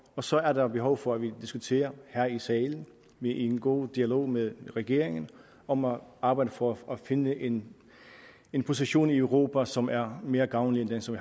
og så er der behov for at vi diskuterer her i salen i en god dialog med regeringen om at arbejde for at finde en en position i europa som er mere gavnlig end den som